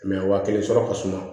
mɛ waa kelen sɔrɔ ka suma